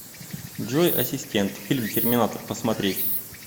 джой ассистент фильм терминатор посмотреть